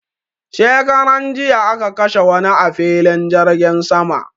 shekaran jiya aka kashe wani a filin jirgin sama